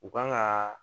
U kan ka